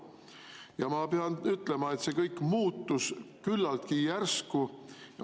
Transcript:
Ja ma pean ütlema, et see kõik muutus küllaltki järsku.